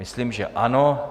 Myslím, že ano.